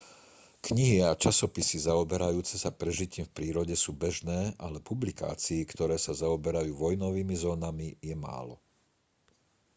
knihy a časopisy zaoberajúce sa prežitím v prírode sú bežné ale publikácií ktoré sa zaoberajú vojnovými zónami je málo